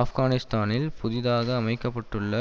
ஆப்கானிஸ்தானில் புதிதாக அமைக்க பட்டுள்ள